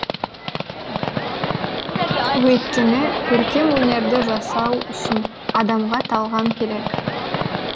өйткені көркем өнерді жасау үшін адамға талғам керек